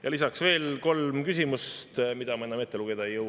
Ja lisaks on veel kolm küsimust, mida ma enam ette lugeda ei jõua.